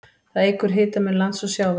Það eykur hitamun lands og sjávar.